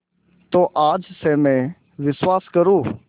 तो आज से मैं विश्वास करूँ